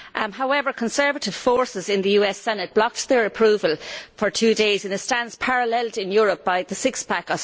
However, conservative forces in the US Senate blocked their approval for two days in a stance paralleled in Europe by the austerity six pack